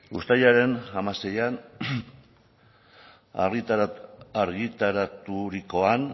uztailaren hamaseian argitaraturikoan